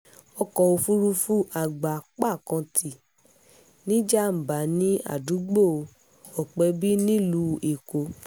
ọkọ̀ òfúrufú àgbá·pá kan ti níjàm̀bá ní àdúgbò ọpẹ́bí nílùú èkó